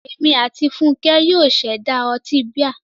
Èmi àti Fúnkẹ́ yóò ṣẹ̀dá ọtí bíà.